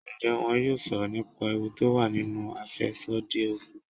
Ǹjẹ́ wón yóò sọ̀rọ̀ nípa ewu tó wà nínú àfẹ́sódì Ògùn.